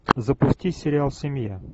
запусти сериал семья